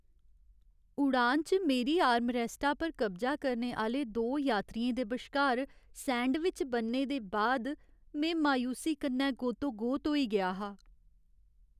उड़ान च मेरी आर्मरैस्टा पर कब्जा करने आह्‌ले दो यात्रियें दे बश्कार सैंडविच बनने दे बाद में मायूसी कन्नै गोतोगोत होई गेआ हा।